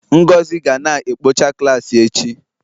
Ngozi ga na-ekpocha klaasị echi